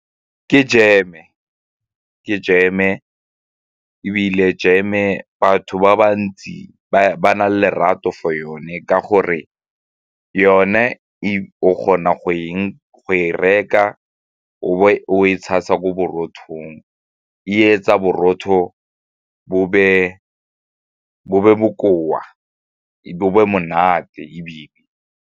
Ke jeme ebile jeme batho ba ba ntsi ba na le lerato for yone ka gore yone if o kgona go e reka o e tshasa ko borothong e etsa borotho bo be bokoa, bo bo monate ebile.